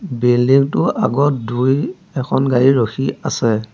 Building টোৰ আগত দুই এখন গাড়ী ৰখি আছে।